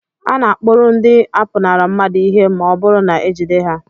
A na-akpụrụ ndị na-apụnara mmadụ ihe ma ọ bụrụ na ejide ha